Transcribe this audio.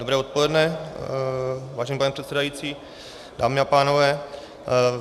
Dobré odpoledne, vážený pane předsedající, dámy a pánové.